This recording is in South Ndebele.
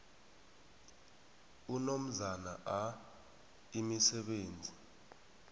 unomzana a imisebenzi